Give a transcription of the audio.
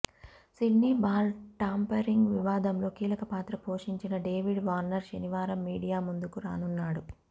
Sydney ball tampering వివాదంలో కీలక పాత్ర పోషించిన డేవిడ్ వార్నర్ శనివారం మీడియా ముందుకు రానున్నాడు